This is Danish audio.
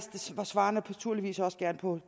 svarer naturligvis også gerne på